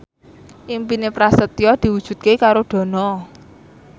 impine Prasetyo diwujudke karo Dono